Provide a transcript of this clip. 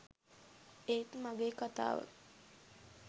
ඒත් මගේ කතාව